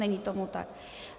Není tomu tak.